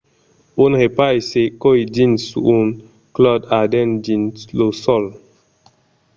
un repais se còi dins un clòt ardent dins lo sòl